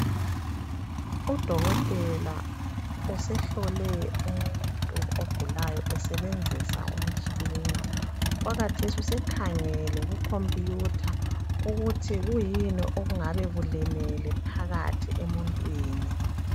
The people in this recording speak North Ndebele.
Udokotela usehlole umuntu ogulayo esebenzisa umtshina. Okwakhathesi usekhangele kukhompiyutha ukuthi kuyini okungabe kulimele phakathi emuntwini.